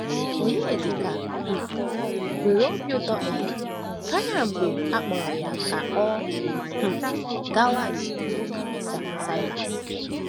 Onyedịka um nwere obi ụtọ um karị mgbe e kpọrọ ya ka ọ um gawa njem na Olíse na Silas.